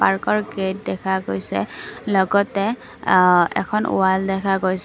পাৰ্কৰ গেইট দেখা গৈছে লগতে অ এখন ৱাল দেখা গৈছে।